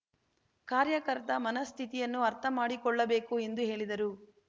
ಕಾರ್ಯಕರ್ತ ಮನಃಸ್ಥಿತಿಯನ್ನು ಅರ್ಥ ಮಾಡಿಕೊಳ್ಳಬೇಕು ಎಂದು ಹೇಳಿದರು